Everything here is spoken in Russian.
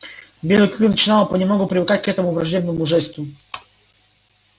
белый клык начинал понемногу привыкать к этому враждебному жесту